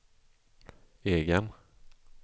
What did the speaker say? egen